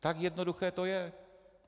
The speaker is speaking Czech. Tak jednoduché to je.